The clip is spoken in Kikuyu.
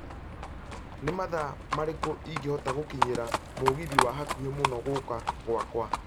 nĩ mathaa marĩku ingĩhota gũkinyĩra mũgithi wa hakũhĩ mũno gũka gwakwa